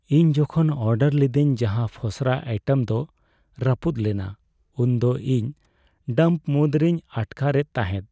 ᱤᱧ ᱡᱚᱠᱷᱚᱱ ᱚᱰᱟᱨ ᱞᱤᱫᱟᱹᱧ ᱡᱟᱦᱟᱸ ᱯᱷᱚᱥᱨᱟ ᱟᱭᱴᱮᱢ ᱫᱚ ᱨᱟᱹᱯᱩᱫ ᱞᱮᱱᱟ ᱩᱱᱫᱚ ᱤᱧ ᱰᱟᱢᱯ ᱢᱩᱫᱽᱨᱮᱧ ᱟᱴᱠᱟᱨᱮᱫ ᱛᱟᱦᱮᱫ ᱾